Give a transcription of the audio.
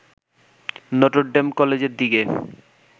Notre Dame কলেজের দিকে